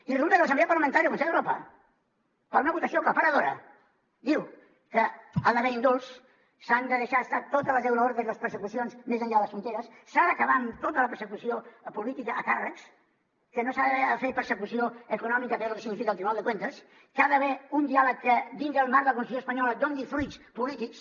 i resulta que l’assemblea parlamentària del consell d’europa per una votació aclaparadora diu que ha d’haver hi indults s’han de deixar estar totes les euroordres i les persecucions més enllà de les fronteres s’ha d’acabar amb tota la persecució política a càrrecs que no s’ha de fer persecució econòmica a través de lo que significa el tribunal de cuentas que hi ha d’haver un diàleg que dins del marc de la constitució espanyola doni fruits polítics